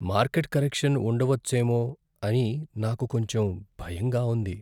Market correction ఉండవచ్చేమో అని నాకు కొంచెం భయంగా ఉంది.